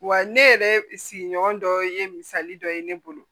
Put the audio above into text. Wa ne yɛrɛ sigiɲɔgɔn dɔ ye misali dɔ ye ne bolo